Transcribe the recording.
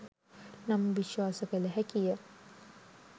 නම් විශ්වාස කළ හැකි ය